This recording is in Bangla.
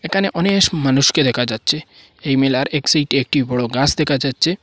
এখানে অনেস মানুষকে দেখা যাচ্ছে এই মেলার এক সাইডে একটি বড়ো গাছ দেখা যাচ্ছে।